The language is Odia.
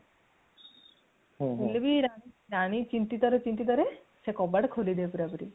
ହେଲେ ବି ରାଣୀ ଚିନ୍ତିତ ରେ ଚିନ୍ତିତ ସିଏ କବାଟ ଖୋଲି ଦେବେ ପୁରା ପୁରି